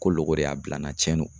Ko loko de y'a bila n na tiɲɛn do.